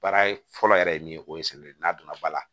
Baara fɔlɔ yɛrɛ ye min ye o ye samiyɛ don n'a donna ba la